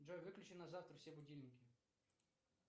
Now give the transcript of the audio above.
джой выключи на завтра все будильники